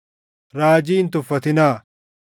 raajii hin tuffatinaa;